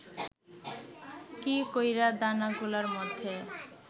কী কইরা দানাগুলার মধ্যে